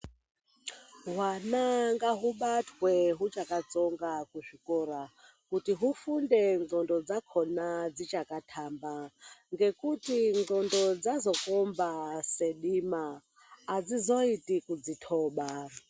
Hwana ngahubatwe huchakatsonga kuzvikora, kuti hufunde ngqondo dzakona dzichakatamba. Ngekuti ngqondo dzazokomba sedima adzizoiti kudzithoba.